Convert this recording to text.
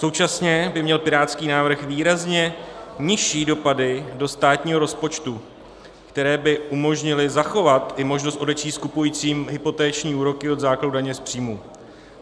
Současně by měl pirátský návrh výrazně nižší dopady do státního rozpočtu, které by umožnily zachovat i možnost odečíst kupujícím hypoteční úroky od základu daně z příjmu.